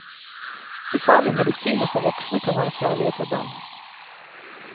Ufarlige medisiner for voksne kan være farlige for barn.